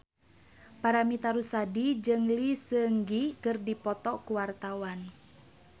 Paramitha Rusady jeung Lee Seung Gi keur dipoto ku wartawan